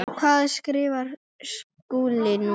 Hvað skrifar Skúli núna?